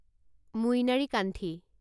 মুইনাৰিকান্ঠি